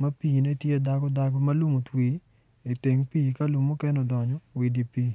ma tye dago dagodago ma lum otwi iteng pii ka lum mukene odonyo idye pii.